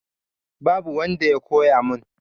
Babu wanda ya koya mun